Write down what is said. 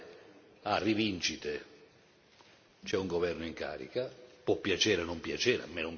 C'è un governo in carica, può piacere o non piacere, a me non piace molto, ma esiste.